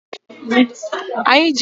Anyi ji waya ndọtị a chaji ekwe nti